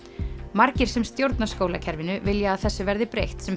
margir sem stjórna skólakerfinu vilja að þessu verði breytt sem